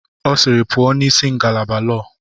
Ọ sịịrị, pụọ n'isi ngalaba lọọ!